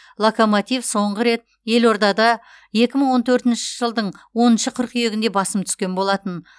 локомотив соңғы рет елордада екі мың он төртінші жылдың оныншы қыркүйегінде басым түскен болатын